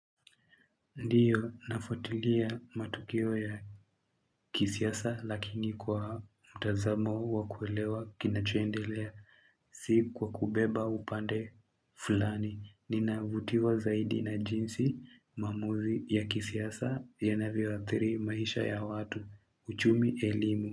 Ndiyo nafuatilia matukio ya kisiasa lakini kwa mtazamo wa kuelewa kinachoendelea si kwa kubeba upande fulani. Ninavutiwa zaidi na jinsi maamuzi ya kisiasa yanavyo athiri maisha ya watu. Uchumi elimu.